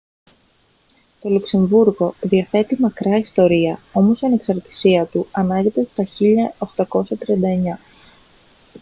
το λουξεμβούργο διαθέτει μακρά ιστορία όμως η ανεξαρτησία του ανάγεται στο 1839